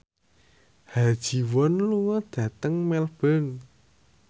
Ha Ji Won lunga dhateng Melbourne